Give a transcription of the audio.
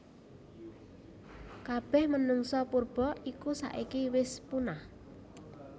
Kabeh menungsa purba iku saiki wis punah